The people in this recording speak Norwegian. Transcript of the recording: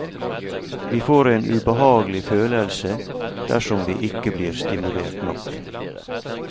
Vi får en ubehagelig følelse dersom vi ikke blir stimulert nok.